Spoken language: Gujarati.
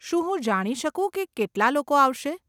શું હું જાણી શકું કે કેટલાં લોકો આવશે?